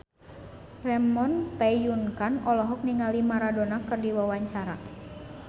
Ramon T. Yungka olohok ningali Maradona keur diwawancara